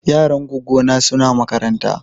Yaran gwaggo na suna makaranta.